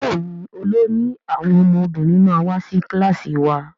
Béèni olórí àwọn ọmọbìnrin ma wá sí kilasi wá.